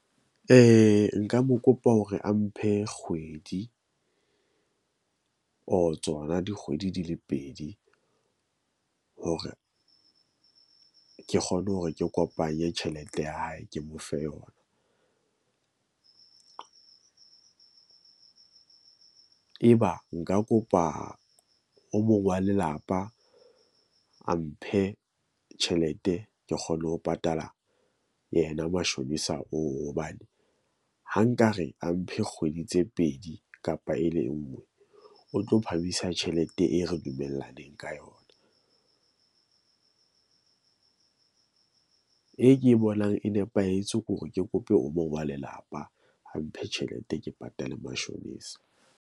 Nka mo kopa hore a mphe kgwedi or tsona dikgwedi di le pedi or ke kgone hore ke kopanye tjhelete ya hae, ke mo fe yona . E ba nka kopa o mong wa lelapa a mphe tjhelete, ke kgone ho patala yena mashonisa oo hobane ha nkare a mphe kgwedi tse pedi kapa e le nngwe, o tlo phamisa tjhelete e re dumellaneng ka yona . E ke bonang e nepahetse kore ke kope o mo wa lelapa, a mphe tjhelete ke patale mashonisa.